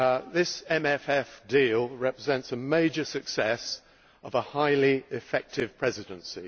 This MFF deal represents a major success of a highly effective Presidency.